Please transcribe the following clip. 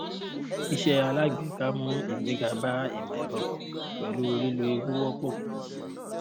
iṣẹ́ alágbèéká mú ìgbéga bá ìmọ̀-ẹ̀rọ pẹ̀lú lílò ewu wọ́pọ̀.